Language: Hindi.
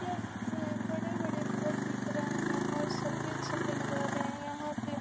यहाँ बड़े-बड़े घर दिख रहे हैं और सफ़ेद-सफ़ेद घर है यहाँ पे।